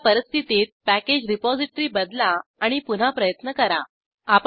त्या परिस्थितीत package repository बदला आणि पुन्हा प्रयत्न करा